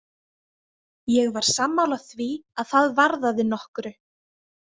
Ég var sammála því að það varðaði nokkru.